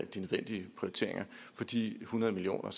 de nødvendige prioriteringer for de hundrede million